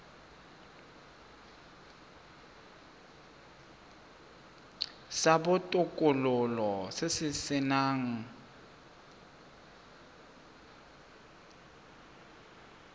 sa botokololo se se nang